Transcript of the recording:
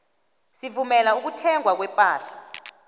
sivumela ukuthengwa kwepahla